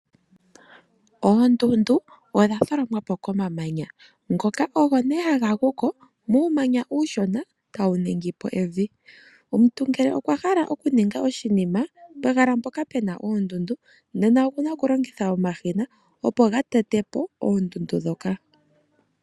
Oondundu odha tholomwa po komamanya, ngoka ogo nee haga gu ko muumanya uushona tawu ningi po evi. Omuntu ngele okwa hala okuninga oshinima pehala mpoka pu na oondundu, nena oku na okulongitha omashina opo ga tete po oondundu ndhoka.